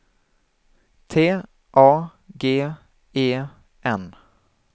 T A G E N